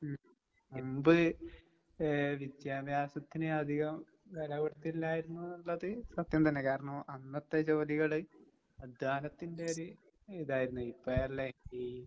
ഉം മുമ്പ് ഏഹ് വിദ്യാഭ്യാസത്തിന് അധികം വെലകൊടുത്തില്ലായിരുന്നൂന്നുള്ളത് സത്യം തന്നെ. കാരണം അന്നത്തെ ജോലികള് അദ്ധ്യാനത്തിന്റെയൊര് ഇതായിരുന്നു. ഇപ്പഴല്ലേ ഈ